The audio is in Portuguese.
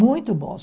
Muito bons.